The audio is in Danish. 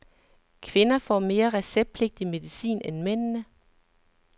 Kvinderne får mere receptpligtig medicin end mændene.